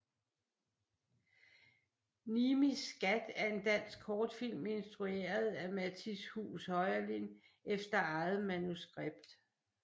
Nimis Skat er en dansk kortfilm instrueret af Mattis Huus Heurlin efter eget manuskript